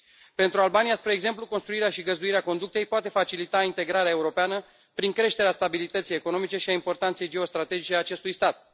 Pentru Albania, spre exemplu, construirea și găzduirea conductei poate facilita integrarea europeană prin creșterea stabilității economice și a importanței geostrategice a acestui stat.